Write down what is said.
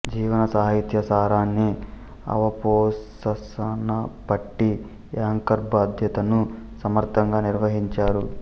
జీవన సాహిత్య సారాన్ని అవపోసనపట్టి యాంకర్ బాధ్యతను సమర్ధంగా నిర్వహించారు